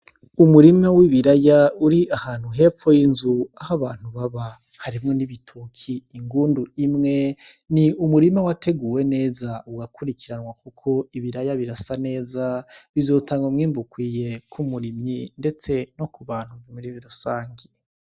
Umurima w'ibiraya uri ahantu hepfo yinzu aho abantu baba harimwo n'ibitoki n'ingundu imwe n'umurima wateguwe neza urakurikiranwe kuko ibiraya birasa neza bizotanga umwimbu ukwiye k'umurimyi ndetse no ku'bantu rusangi.